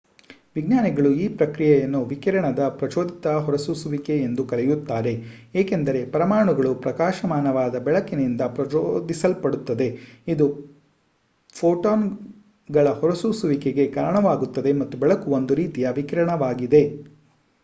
ವಿಜ್ಞಾನಿಗಳು ಈ ಪ್ರಕ್ರಿಯೆಯನ್ನು ವಿಕಿರಣದ ಪ್ರಚೋದಿತ ಹೊರಸೂಸುವಿಕೆ ಎಂದು ಕರೆಯುತ್ತಾರೆ ಏಕೆಂದರೆ ಪರಮಾಣುಗಳು ಪ್ರಕಾಶಮಾನವಾದ ಬೆಳಕಿನಿಂದ ಪ್ರಚೋದಿಸಲ್ಪಡುತ್ತವೆ ಇದು ಫೋಟಾನ್‌ಗಳ ಹೊರಸೂಸುವಿಕೆಗೆ ಕಾರಣವಾಗುತ್ತದೆ ಮತ್ತು ಬೆಳಕು ಒಂದು ರೀತಿಯ ವಿಕಿರಣವಾಗಿದೆ